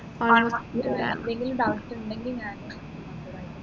എന്തെങ്കിലും doubts ഉണ്ടെങ്കിൽ ഞാന്